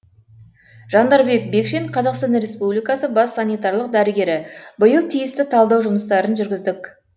жандарбек бекшин қазақстан республикасы бас санитарлық дәрігері биыл тиісті талдау жұмыстарын жүргіздік